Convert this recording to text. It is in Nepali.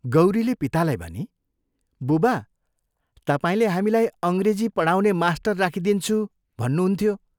गौरीले पितालाई भनी, "बुबा, तपाईले हामीलाई अंग्रेजी पढाउने मास्टर राखिदिन्छु भन्नुहुन्थ्यो।